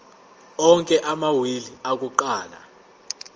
onke amawili akuqala